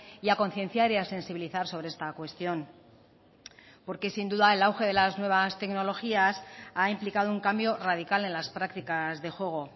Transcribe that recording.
y a concienciar y a sensibilizar sobre esta cuestión porque sin duda el auge de la nuevas tecnologías ha implicado un cambio radical en las prácticas de juego